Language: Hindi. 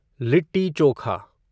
लिट्टी-चोखा